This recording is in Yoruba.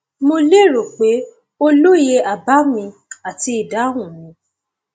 mo lérò pé o lóye àbá mi àti ìdáhùn mi